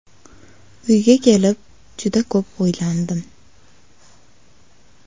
Uyga kelib, juda ko‘p o‘ylandim.